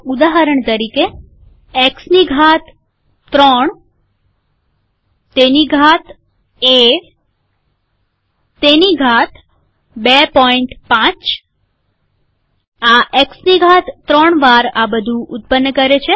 ઉદાહરણ તરીકે એક્સની ઘાત ૩તેની ઘાત એતેની ઘાત ૨૫ આ એક્સની ઘાત ૩ વાર આ બધું ઉત્પન્ન કરે છે